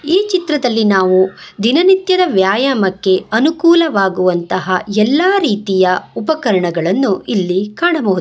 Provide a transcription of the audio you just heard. ಈ ಚಿತ್ರದಲ್ಲಿ ನಾವು ದಿನನಿತ್ಯದ ವ್ಯಾಯಾಮಕ್ಕೆ ಅನುಕೂಲವಾಗುವಂತಹ ಎಲ್ಲಾ ರೀತಿಯ ಉಪಕರಣಗಳನ್ನು ಇಲ್ಲಿ ಕಾಣಬಹು--